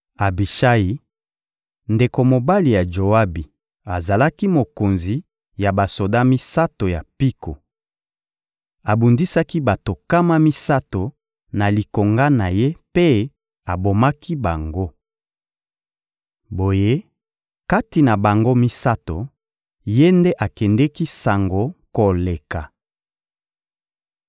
Abishayi, ndeko mobali ya Joabi, azalaki mokonzi ya basoda misato ya mpiko. Abundisaki bato nkama misato na likonga na ye mpe abomaki bango. Boye, kati na bango misato, ye nde akendeki sango koleka.